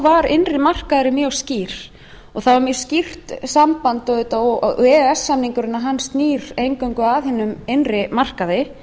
var innri markaðurinn mjög skýr og það er mjög skýrt samband auðvitað e e s samningurinn snýr eingöngu að hinum innri markaði